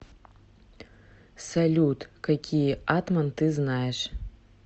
салют какие атман ты знаешь